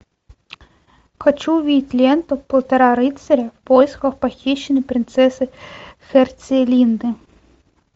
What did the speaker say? хочу увидеть ленту полтора рыцаря в поисках похищенной принцессы херцелинды